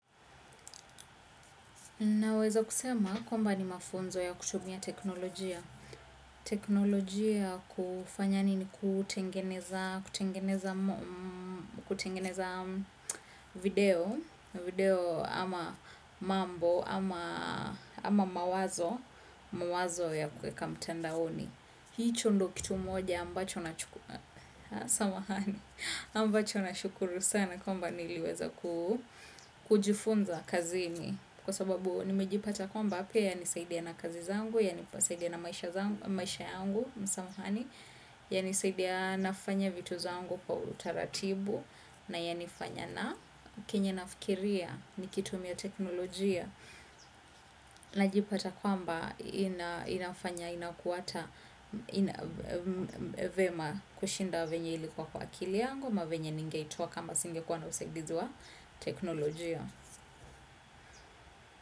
Naweza kusema kwamba ni mafunzo ya kutumia teknolojia. Teknolojia kufanya nini kutengeneza kutengeneza video ama mambo ama mawazo ya kuweka mtandaoni. Hicho ndo kitu moja ambacho nashukuru sana kwamba niliweza kujifunza kazini. Kwa sababu nimejipata kwamba pia yanisaidia na kazi zangu, yanisaidia na maisha yangu, yanisaidia nafanya vitu zangu kwa utaratibu, na yanifanya na kenye nafikiria nikitumia teknolojia. Najipata kwamba inafanya, inakuwa ata vyema kushinda vyenye ilikuwa kwa akili yangu, ama venye ningeitoa kama singekuwa na usaidizi wa teknolojia.